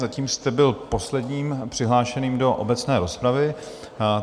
Zatím jste byl posledním přihlášeným do obecné rozpravy.